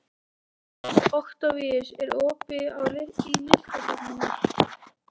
Októvíus, er opið í Listasafninu?